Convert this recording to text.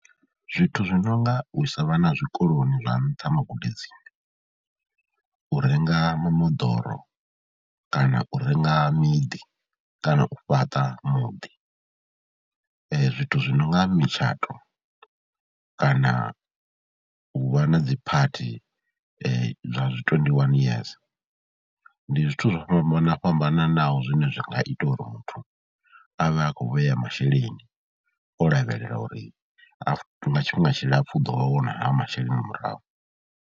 Zwithu zwi no nga u isa vhana zwikoloni zwa nṱha magudedzini, u renga mimoḓoro kana u renga miḓi kana u fhaṱa muḓi zwithu zwi no nga mitshato kana u vha na dziphathi zwa dzi twenty one years. Ndi zwithu zwo fhambanana vhana fhambananaho zwine zwa nga ita uri muthu a vhe a khou vhea masheleni, o lavhelela uri nga tshifhinga tshilapfhu u ḓo a wana hayo masheleni murahu.